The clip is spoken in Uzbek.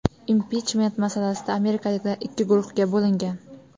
Impichment masalasida amerikaliklar ikki guruhga bo‘lingan.